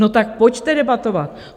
No tak pojďte debatovat.